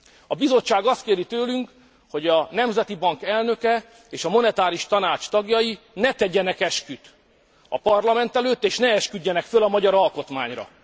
A Bizottság azt kéri tőlünk, hogy a Nemzeti Bank elnöke és a Monetáris Tanács tagjai ne tegyenek esküt a parlament előtt és ne esküdjenek fel a magyar alkotmányra.